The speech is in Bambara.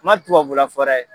N man tubabula fɔ dɛ.